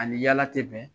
Ani yala te bɛn